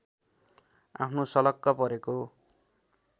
आफ्नो सलक्क परेको